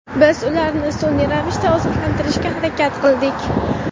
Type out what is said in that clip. Biz ularni sun’iy ravishda oziqlantirishga harakat qildik.